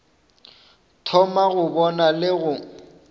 thoma go bona le go